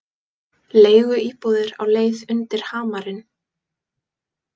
Leiguíbúðir á leið undir hamarinn